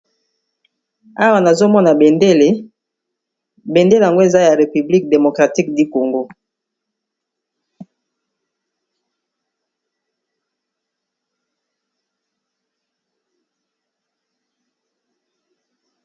Awa nazomona bendele, bendele yango eza ya République démocratique du Congo.